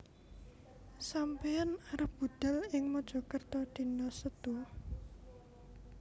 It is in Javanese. Sampeyan arep budhal ing Mojokerto dino Setu?